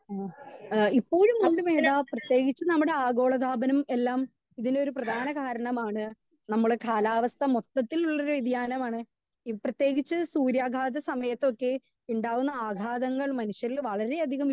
speaker 2 ആ ആ ഇപ്പയും ഉണ്ട് മേത പ്രേതേകിച്ച് നമ്മുടെ ആഗോള താപനം എല്ലാം ഒര്‌ പ്രധാന കാരണമാണ് നമ്മളെ കാലാവസ്ഥ മൊത്തത്തിൽ ഉള്ള വ്യെധിയാനം ആണ് പ്രേതെകിച്ച് സൂര്യകാതെ സമയത്തൊക്കെ ഉണ്ടാകുന്ന ആഗാധങ്ങൾ മനുഷ്യരിൽ വളരെ അധികം